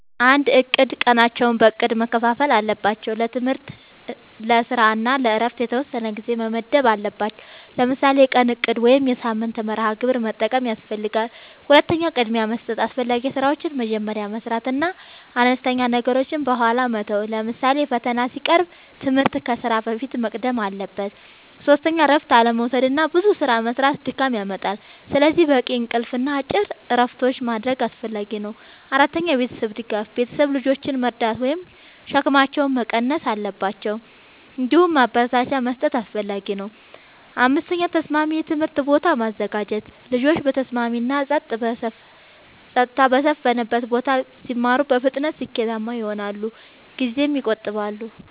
፩. እቅድ፦ ቀናቸውን በእቅድ መከፋፈል አለባቸው። ለትምህርት፣ ለስራ እና ለእረፍት የተወሰነ ጊዜ መመደብ አለባቸዉ። ለምሳሌ የቀን እቅድ ወይም የሳምንት መርሃ ግብር መጠቀም ያስፈልጋል። ፪. ቅድሚያ መስጠት፦ አስፈላጊ ስራዎችን መጀመሪያ መስራት እና አነስተኛ ነገሮችን በኋላ መተው። ለምሳሌ ፈተና ሲቀርብ ትምህርት ከስራ በፊት መቅደም አለበት። ፫. እረፍት አለመዉሰድና ብዙ ስራ መስራት ድካም ያመጣል። ስለዚህ በቂ እንቅልፍ እና አጭር እረፍቶች ማድረግ አስፈላጊ ነው። ፬. የቤተሰብ ድጋፍ፦ ቤተሰብ ልጆችን መርዳት ወይም ሸክማቸውን መቀነስ አለባቸው። እንዲሁም ማበረታቻ መስጠት አስፈላጊ ነው። ፭. ተስማሚ የትምህርት ቦታ ማዘጋጀት፦ ልጆች በተስማሚ እና ጸጥታ በሰፈነበት ቦታ ሲማሩ በፍጥነት ስኬታማ ይሆናሉ ጊዜም ይቆጥባሉ።